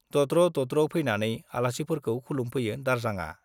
दद्र दद्र फैनानै आलासिफोरखौ खुलुमफैयो दारजांआ।